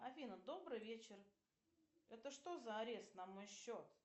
афина добрый вечер это что за арест на мой счет